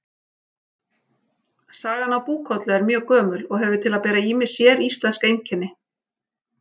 Sagan af Búkollu er mjög gömul og hefur til að bera ýmis séríslensk einkenni.